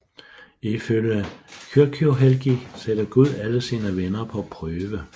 Ifølge Kyrkjuhelgi sætter Gud alle sine venner på prøve